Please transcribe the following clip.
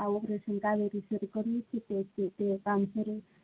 આ operation શરુ કરિયું છે.